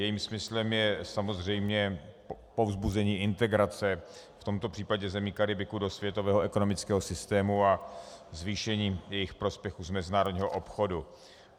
Jejím smyslem je samozřejmě povzbuzení integrace, v tomto případě zemí Karibiku, do světového ekonomického systému a zvýšení jejich prospěchu z mezinárodního obchodu.